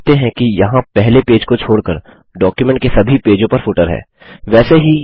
आप देखते हैं कि यहाँ पहले पेज को छोड़कर डॉक्युमेंट के सभी पेजों पर फुटर है